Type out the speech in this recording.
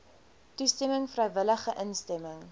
toestemming vrywillige instemming